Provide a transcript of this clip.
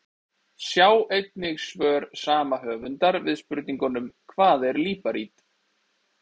Sjá einnig svör sama höfundar við spurningunum: Hvað er líparít?